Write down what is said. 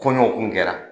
Kɔɲɔ kun kɛra